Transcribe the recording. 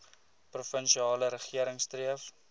provinsiale regering streef